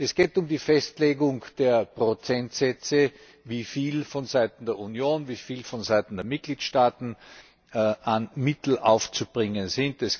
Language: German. Es geht um die Festlegung der Prozentsätze, wie viel vonseiten der Union, wie viel vonseiten der Mitgliedstaaten an Mitteln aufzubringen ist.